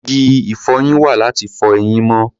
Igi ìfọyín wà láti fọ eyín mọ́.